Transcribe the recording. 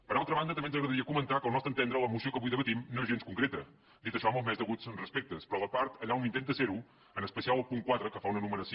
per altra banda també ens agradaria comentar que al nostre entendre la moció que avui debatem no és gens concreta dit això amb els més deguts respectes però la part allà on intenta ser ho en especial el punt quatre que fa una enumeració